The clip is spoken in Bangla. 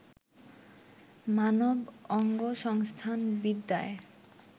মানব অঙ্গসংস্থানবিদ্যায়